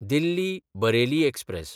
Delhi-Bareilly express